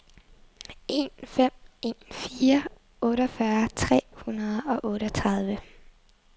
en fem en fire otteogfyrre tre hundrede og otteogtredive